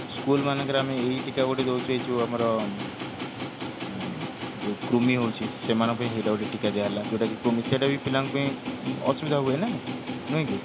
school ମାନଙ୍କରେ ଆମେ ଏହି ଟୀକା ଗୋଟେ ଦଉଛେ ଏଇ ଯୋଉ ଆମର ଉଁ କୃମି ହଉଛି ସେମାନଙ୍କ ପାଇଁ ହେଇଟା ଗୋଟେ ଟୀକା ଦିଆ ହେଲା ଯୋଉଟା କି କୃମି ସେଇଟା ବି ପିଲାଙ୍କ ପାଇଁ ଅସୁବିଧା ହୁଏନା ନାଇକି